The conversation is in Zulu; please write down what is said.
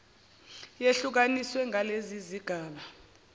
yehlukaniswa ngalezi zigaba